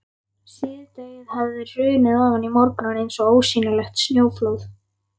Síðdegið hafði hrunið ofan í morguninn eins og ósýnilegt snjóflóð.